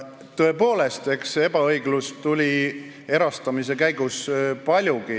Tõepoolest, ebaõiglust tekkis erastamise käigus paljugi.